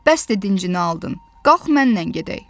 Bəsdi dincini aldın, qalx mənlə gedək.